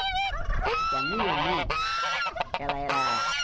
Porque a minha mãe, ela era